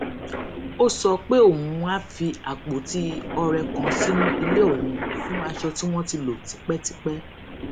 ó sọ pé òun á fi àpótí ọrẹ kan sínú ilé òun fún aṣọ tí wón ti lò tipétipé